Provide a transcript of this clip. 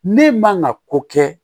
Ne man ka ko kɛ